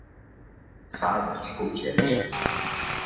Það er sósíalisminn.